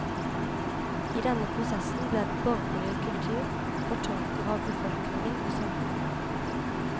I denne prosessen ble den borgerlige kultur fortolker av befolkningen og samfunnet.